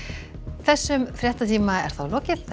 þessum fréttatíma er lokið